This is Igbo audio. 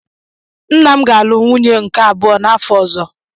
Nna m ga-alụ nwunye nke abụọ n'afọ ọzọ.